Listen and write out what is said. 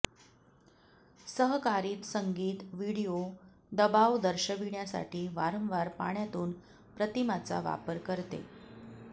सहकारित संगीत व्हिडिओ दबाव दर्शविण्यासाठी वारंवार पाण्यातून प्रतिमाचा वापर करते